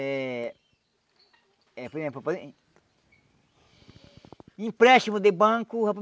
É... É, por exemplo... Empréstimo de banco